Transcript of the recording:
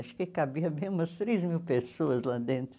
Acho que cabia bem umas três mil pessoas lá dentro.